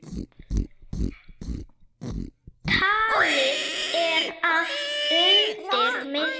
Talið er að undir miðju